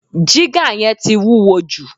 Jígà yẹn ti wúwo jù